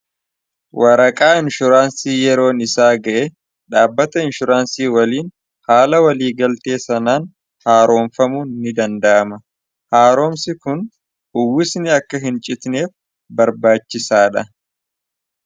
waraqaa inshuraansii yeroon isaa ga'e dhaabbata inshuraansii waliin haala walii galtee sanaan haaroomfamu ni danda'ama haaroomsi kun uwwisni akka hin citneef barbaachisaa dha